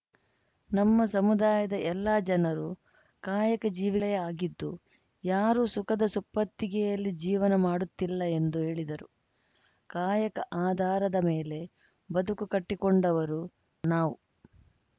ನಮ್ಮ ಸಮುದಾಯದ ಎಲ್ಲ ಜನರು ಕಾಯಕ ಜೀವಿ ಆಗಿದ್ದು ಯಾರೂ ಸುಖದ ಸುಪ್ಪತ್ತಿಗೆಯಲ್ಲಿ ಜೀವನ ಮಾಡುತ್ತಿಲ್ಲ ಎಂದು ಹೇಳಿದರು ಕಾಯಕ ಆಧಾರದ ಮೇಲೆ ಬದುಕು ಕಟ್ಟಿಕೊಂಡವರು ನಾವು